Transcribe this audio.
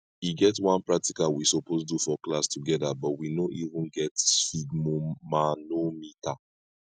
e get one practical we suppose do for class together but we no even get sphygmomanometer